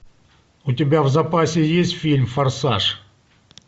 у тебя в запасе есть фильм форсаж